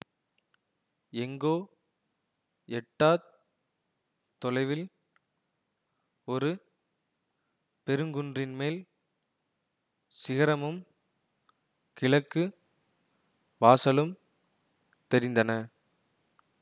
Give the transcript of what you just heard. எங்கோ எட்டாத் தொலைவில் ஒரு பெருங்குன்றின்மேல் சிகரமும் கிழக்கு வாசலும் தெரிந்தன